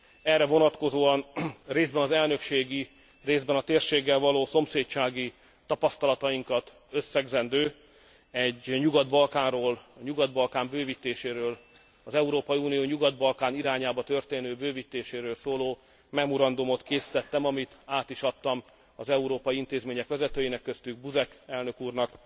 Erre vonatkozóan részben az elnökségi, részben a térséggel való szomszédsági tapasztalatainkat összegzendő, egy Nyugat Balkánról, a Nyugat Balkán bővítéséről, az Európai Unió Nyugat Balkán irányába történő bővítéséről szóló memorandumot készítettem, amit át is adtam az Európai Unió intézményei vezetőinek, köztük Buzek elnök úrnak